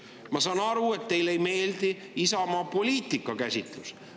Ma saan aru, et teile ei meeldi Isamaa poliitikakäsitlus.